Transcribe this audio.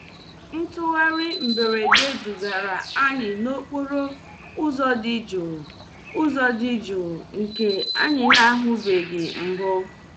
Ntugharị mberede dugara anyị n'okporo ụzọ dị jụụ ụzọ dị jụụ nke anyị na-ahụbeghị mbụ.